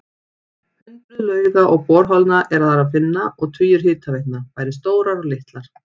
Hundruð lauga og borholna er þar að finna og tugir hitaveitna, bæði stórar og litlar.